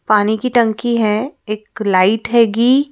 पानी की टंकी है एक लाइट हैगी।